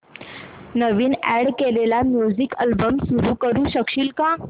नवीन add केलेला music album सुरू करू शकशील का